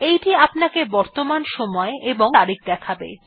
এইটি আপনাকে বর্তমান সময় এবং তারিখ দেখাবে